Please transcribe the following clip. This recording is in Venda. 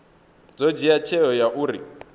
ḓo dzhia tsheo ya uri